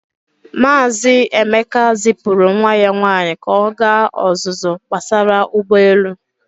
Maazị Emeka zipụrụ nwa ya nwaanyị ka ọ gaa ọzụzụ gbasara ụgbọelu.